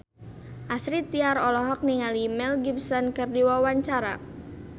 Astrid Tiar olohok ningali Mel Gibson keur diwawancara